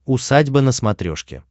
усадьба на смотрешке